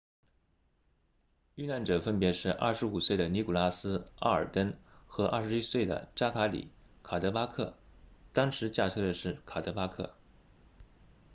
遇难者分别是25岁的尼古拉斯奥尔登 nicholas alden 和21岁的扎卡里卡德巴克 zachary cuddeback 当时驾车的是卡德巴克